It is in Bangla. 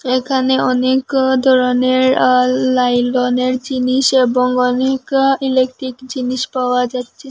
এখানে অনেক ও ধরনের আ লাইলনের জিনিস এবং অনেক ও ইলেকট্রিক জিনিস পাওয়া যাচ্ছে।